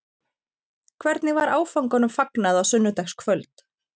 Hvernig var áfanganum fagnað á sunnudagskvöld?